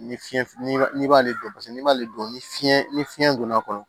Ni fiɲɛ n'i b'ale dɔn paseke n'i b'ale dɔn ni fiɲɛ ni fiyɛn donn'a kɔnɔ